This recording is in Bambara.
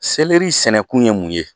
Selɛri sɛnɛ kun ye mun ye?